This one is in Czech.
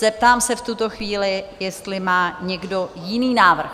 Zeptám se v tuto chvíli, jestli má někdo jiný návrh?